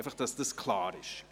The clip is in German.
Einfach, damit dies klar ist.